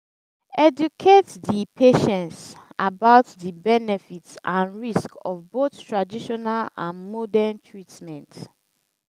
educate di patience about di benefit and risk of of both traditional and modern treatment